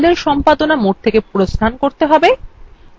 তাই দলএর সম্পাদনা mode থেকে প্রস্থান করতে have